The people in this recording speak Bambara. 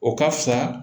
O ka fisa